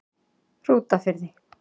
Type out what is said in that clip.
Hrútafirði